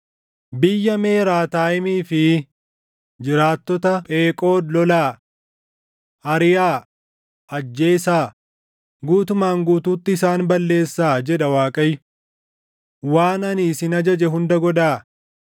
“Biyya Meraataayimii fi jiraattota Pheqood lolaa. Ariʼaa, ajjeesaa, guutumaan guutuutti isaan balleessaa,” jedha Waaqayyo. “Waan ani isin ajaje hunda godhaa.